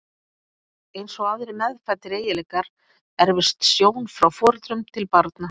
Eins og aðrir meðfæddir eiginleikar erfist sjón frá foreldrum til barna.